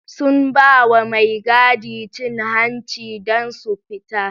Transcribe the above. Sun bawa mai gadi cin hanci dan su fita